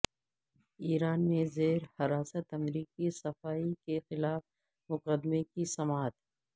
ایران میں زیر حراست امریکی صحافی کے خلاف مقدمے کی سماعت